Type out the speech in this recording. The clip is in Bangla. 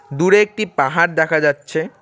দূরে একটি পাহাড় দেখা যাচ্ছে।